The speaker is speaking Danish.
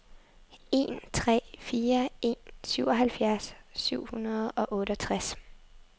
en tre fire en syvoghalvfjerds syv hundrede og otteogtres